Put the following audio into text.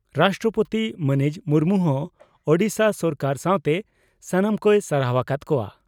ᱨᱟᱥᱴᱨᱚᱯᱳᱛᱤ ᱢᱟᱹᱱᱤᱡ ᱢᱩᱨᱢᱩ ᱦᱚᱸ ᱳᱰᱤᱥᱟ ᱥᱚᱨᱠᱟᱨ ᱥᱟᱣᱛᱮ ᱥᱟᱱᱟᱢ ᱠᱚᱭ ᱥᱟᱨᱦᱟᱣ ᱟᱠᱟᱫ ᱠᱚᱜᱼᱟ ᱾